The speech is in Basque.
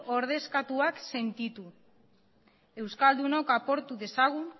ordezkatuak sentitu euskaldunok apurtu dezagun